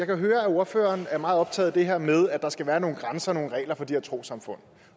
jo høre at ordføreren er meget optaget af det her med at der skal være nogle grænser og nogle regler for de her trossamfund